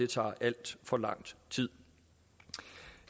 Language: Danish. tager alt for lang tid